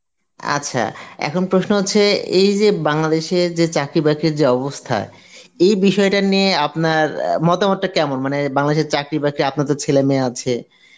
আচ্ছা, এখন প্রশ্ন হচ্ছে এই যে বাংলাদেশে যে চাকরি বাকরি যে অবস্থা এই বিষয়টা নিয়ে আপনার অ্যাঁ মতামতটা কেমন মানে বাংলাদেশের চাকরি বাকরি আপনার তো ছেলে মেয়ে আছে